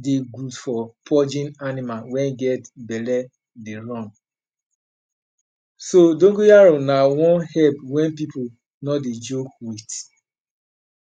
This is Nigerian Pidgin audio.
dey good for purging animal wey get belle dey run So, dongoyaro na one herb wey pipu no dey joke with.